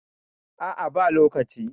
a a ba lokaci